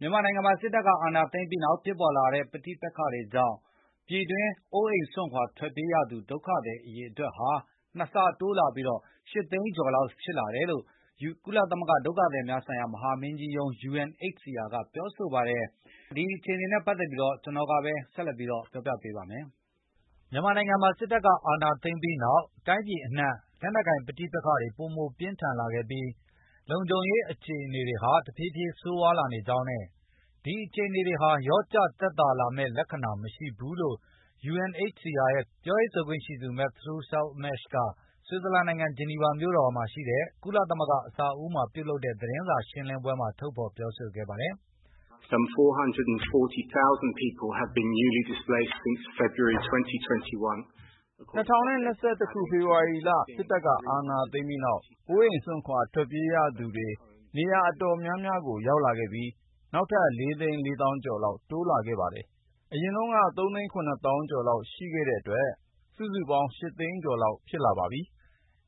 မြန်မာနိုင်ငံမှာ စစ်တပ်အာဏာသိမ်းပြီးနောက် ဖြစ်ပေါ်လာတဲ့ ပဋိက္ခတွေကြောင့် ပြည်တွင်းအိုးအိပ်စွန့်ခွါထွက်ပြေးရသူ ဒုက္ခသည် အရေအတွက်ဟာ ၂ ဆတိုးလာပြီး ၈ သိန်းကျော်လောက်ဖြစ်လာတာကြောင့် မြန်မာနိုင်ငံမှာ အရေးပေါ် လူသားခြင်းစာနာမှု အထောက်အပံတွေလည်း ပိုမိုလိုအပ်လာတယ်လို့ UNHCR ကုလသမဂ္ဂဒုက္ခသည်များဆိုင်ရာ မဟာမင်းကြီးရုံးက သောကြာနေ့မှာပြောဆိုလိုက်ပါတယ်။ အပြည့်အစုံကိုတော့ ကိုဇော်မိုးကျော်က ဆက်လက်ပြောပြပေးပါလိမ့်မယ်။ မြန်မာနိုင်ငံမှာ စစ်တပ်ကအာဏာသိမ်းပြီးနောက် တိုင်းပြည်အနှံ့ လက်နှက်ကိုင်ပဋိပက္ခတွေ ပိုမိုပြင်းထန်လာခဲ့ပြီး၊ လုံခြုံရေးခြေအနေတွေဟာ တဖြည့်ဖြည်းဆိုးဝါးလာကြောင်း နဲ့ ဒီအခြေအနေတွေဟာ လျော့ကျသက်သာလာမယ့် လက္ခဏာမရှိဘူးလို့ UNHCR ရဲ့ပြောရေးဆိုခွင့်ရှိသူ Matthew Saltmarsh က ဆွစ်ဇာလန်နိုင်ငံ ဂျနီဗာမြို့ မှာရှိတဲ့ ကုလသမဂ္ဂအဆောက်အအုံမှာ ပြု့လုပ်တဲ့ သတင်းစာရှင်းလင်းပွဲမှာ ထုတ်ဖေါ်ပြောဆိုခဲ့ပါတယ်။ "၂ဝ၂၁ ခုနှစ် ဖေဖေါ်ဝါရီလ စစ်တပ်က အာဏာသိမ်းပြီးနောက် အိုးအိမ်စွန့်ခွါထွက်ပြေးရသူတွေ နေရာအတော်များများမှာ ဖြစ်လာခဲ့ပြီး နောက်ထပ် ၄ သိန်း ၄ သောင်းကျော် လောက်တိုးလာခဲ့ပါတယ်။ အရင်က ၃ သိန်း ၇ သောင်းကျော်လောက်ရှိနေခဲ့တဲ့အတွက် စုစုပေါင်း ၈ သိန်းကျော်လောက်ဖြစ်လာခဲ့တယ်လို့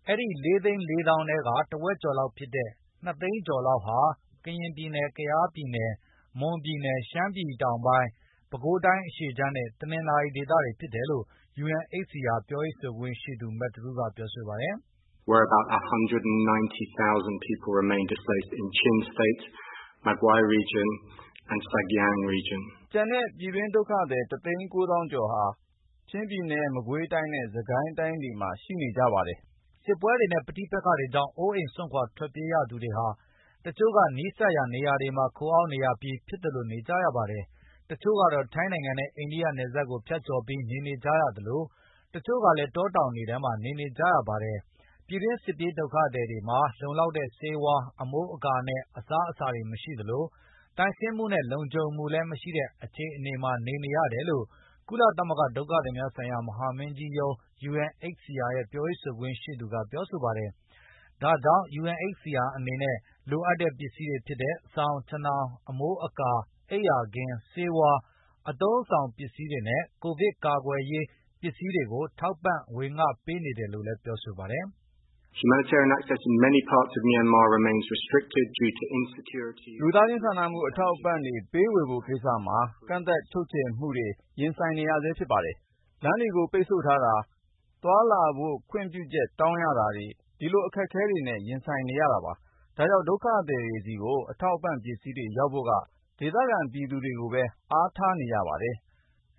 Matthew ကပြောဆိုသွားတာပါ" အဲဒီ ၄ သိန်း ၄ သောင်းထဲက တဝက်ကျော်လောက်ဖြစ်တဲ့ ၂ သိန်းကျော်လောက်ဟာ ကရင်ပြည်နယ်၊ ကယားပြည်နယ်၊ မွန်ပြည်နယ်၊ ရှမ်းပြည်တောင်ပိုင်း၊ ပဲခူးတိုင်း အရှေ့ခြမ်း၊ နဲတနင်္သာရီဒေသတွေကဖြစ်တယ်လို့ဆိုပါတယ်။ ကျန်တဲ့ ပြည်တွင်းဒုက္ခသည် ၁ သိန်း ၉ သောင်းကျော်ဟာ ချင်းပြည်နယ်၊ မကွေးတိုင်းနဲ့ စစ်ကိုင်းတိုင်း တွေထဲမှာ ရှိနေတယ်လို့ ပြောခွင့်ရ ပုဂ္ဂိုလ်ကပြောဆိုသွားတာပါ။ စစ်ပွဲတွေနဲ့ ပဋိပက္ခတွေကြောင့် အိုးအိမ်စွန့်ခွာထွက်ပြေးနေရသူတွေဟာ တချို့ကနီးစပ်ရာနေရာတွေ ခိုအောင်းနေရပြီး ဖြစ်သလိုနေနေကြရပါတယ်။ တချို့ကတော့ ထိုင်း နဲ့ အိန္ဒိယနယ်စပ်တွေကိုဖြတ်ကျော်ပြီး နေနေကြရသလို၊ တချို့ကလည်းတောတောင်တွေထဲမှာနေနေကြရပါတယ်။ ပြည်တွင်းစစ်ပြေး ဒုက္ခသည်တွေမှာ လုံလောက်တဲ့ဆေးဝါး၊ အမိုးအကာနဲ့ အစားအစာတွေမရှိသလို သန့်ရှင်းမှု၊ လုံခြုံမှုလည်းမရှိတဲ့ အခြေအနေမှာ နေနေရတယ်လို့ ကုလသမဂ္ဂဒုက္ခသည်များဆိုင်ရာ မဟာမင်းကြီးရုံး UNHCR ရဲ့ပြောရေး ဆိုခွင့်ရှိသူကပြောဆိုပါတယ်။ ဒါကြောင့် UNHCR အနေနဲ့ လိုအပ်တဲ့ပစ္စည်းတွေဖြစ်တဲ့ စောင်၊ ခြင်ထောင်၊ အမိုးအကာ၊ အိပ်ယာခင်း၊ ဆေးဝါး၊ အသုံးအဆောင်ပစ္စည်းတွေနဲ့ ကိုဗစ်ကာကွယ်ရေး ပစ္စည်းတွေထောက်ပံ့ဝေပေးနေတယ်လို့ လည်းပြောပါတယ်။ လူသားခြင်းစာနာမှု အထောက်အပံတွေ ပေးဝေဖို့ကိစ္စမှာ ကန့်သတ်ချုပ်ချယ်မှုတွေနဲ့ ရင်ဆိုင်နေရာဆဲဖြစ်ပါတယ်။ လမ်းတွေကိုပိတ်ဆို့ထားတာ၊ သွားလာဖို့ခွင့်ပြုချက်တောင်းရတာ ဒီအခက်ခဲတွေနဲ့ ရင်ဆိုင်နေရပါတယ်။ ဒါကြောင့် ဒုက္ခသည်တွေဆီကို အထောက်အပံ့ပစ္စည်းတွေရောက်ဖို့က ဒေသခံပြည်သူတွေကိုပဲ အားထားနေရာပါတယ်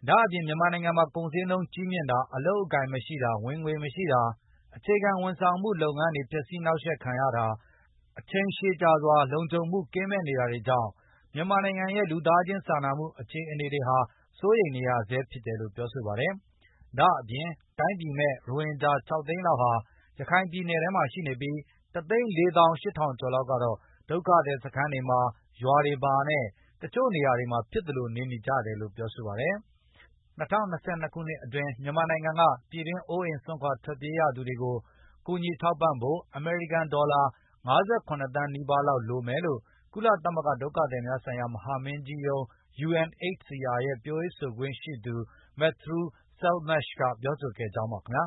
လို့ UNHCR ပြောရေးဆိုခွင့်ရှိသူ Matthew ကပြောဆိုသွားတာပါ။ ဒါ့အပြင်မြန်မာနိုင်ငံမှာ ကုန်ဈေးနှုန်းကြီးမြင့်တာ၊ အလုပ်အကိုင်မရှိတာ၊ ဝင်ငွေမရှိတာ၊ အခြေခံဝန်ဆောင်မှုလုပ်ငန်းတွေဖျက်စီးနှောက်ယှက်ခံရတာ၊ အချိန်ရှည်ကြာစွာ လုံခြုံမှုကင်းမဲ့နေတာတွေကြောင့် မြန်မာနိုင်ငံရဲ့လူသားခြင်းစာနာမှု အခြေအနေတွေဟာ စိုးရိမ်နေရဆဲဖြစ်တယ်လို့ပြောဆိုခဲ့ပါတယ်။ ဒါ့အပြင် တိုင်းပြည်မဲ့ ရိုဟင်ဂျာ ၆ သိန်းလောက်ဟာလည်း ရခိုင်ပြည်နယ်ထဲမှာရှိနေပြီး၊ ၁ သိန်း ၄ သောင်း ၈ ထောင်ကျော်လောက်ကတော့ ဒုက္ခသည်စခန်းတွေ၊ ရွာတွေ၊ နဲ့ တချို့နေရာတွေမှာဖြစ်သလို နေနေကြရတယ်လို့ဆိုပါတယ်။ ၂၀၂၂ ခုနှစ်အတွင်း မြန်မာနိုင်ငံက ပြည်တွင်း အိုးအိမ်စွန့်ခွါထွက်ပြေးရသူတွေကို ကူညီထောက်ပံဖို့ အမေရိကန်ဒေါ်လာ ၅၇ သန်းနီးပါးလောက်လိုအပ်မယ်လို့ ကုလသမဂ္ဂဒုက္ခသည်များ ဆိုင်ရာမဟာမင်းကြီးရုံး UNHCR ရဲ့ပြောရေးဆိုခွင့်ရှိသူ Matthew Saltmarsh ကပြောဆိုခဲ့ကြောင်းပါခင်ဗျာ